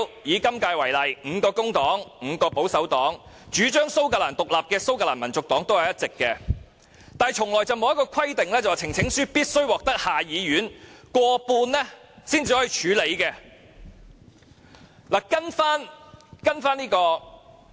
以今屆為例，工黨及保守黨各有5人，主張蘇格蘭獨立的蘇格蘭民族黨也有1人，卻從未有規定呈請書必須獲得下議院過半數支持才可獲處理。